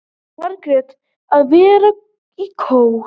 Margrét: Að vera í kór.